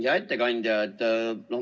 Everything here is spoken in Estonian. Hea ettekandja!